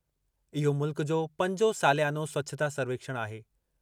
इहो मुल्क जो पंजो सालियानो स्वच्छता सर्वेक्षण आहे।